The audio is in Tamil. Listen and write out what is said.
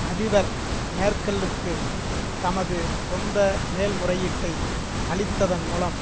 அதிபர் மேர்க்கெலுக்கு தமது சொந்த மேல்முறையீட்டை அளித்ததன் மூலம்